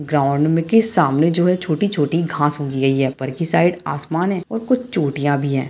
Ground में के सामने जो है छोटी छोटी घासे उगी हुई है ऊपर की साइड आसमान है और कुछ चोटिया भी है।